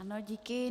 Ano, díky.